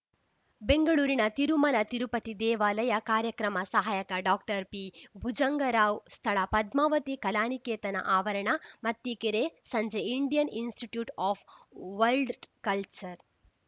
ಬೆಂಗಳೂರಿನ ತಿರುಮಲ ತಿರುಪತಿ ದೇವಾಲಯ ಕಾರ್ಯಕ್ರಮ ಸಹಾಯಕ ಡಾಕ್ಟರ್ ಪಿಭುಜಂಗರಾವ್‌ ಸ್ಥಳ ಪದ್ಮಾವತಿ ಕಲಾನಿಕೇತನ ಆವರಣ ಮತ್ತಿಕೆರೆ ಸಂಜೆ Indian institute of world culture